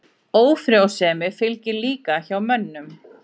Ófrjósemi fylgir líka hjá mönnum.